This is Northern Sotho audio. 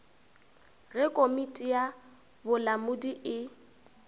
ge komiti ya bolamodi e